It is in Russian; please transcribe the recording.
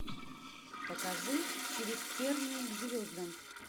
покажи через тернии к звездам